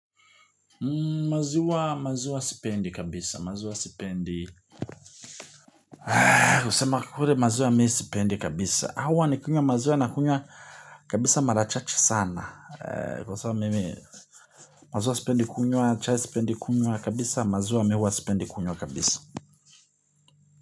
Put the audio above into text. Maziwa maziwa sipendi kabisa maziwa sipendi kusema kweli maziwa mi sipendi kabisa ama nikinywa maziwa nakunywa kabisa mara chache sana kwa sababu mimi maziwa sipendi kunywa chai sipendi kunywa kabisa maziwa mi huwa sipendi kunywa kabisa.